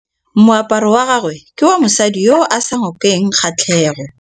Moaparô wa gagwe ke wa mosadi yo o sa ngôkeng kgatlhegô.